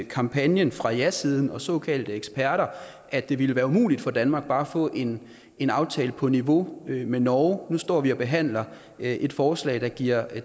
kampagnen fra jasiden og såkaldte eksperter at det ville være umuligt for danmark bare at få en en aftale på niveau med norges står vi og behandler et forslag der giver